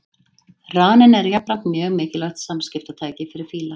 Raninn er jafnframt mjög mikilvægt samskiptatæki fyrir fíla.